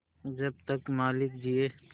जब तक मालिक जिये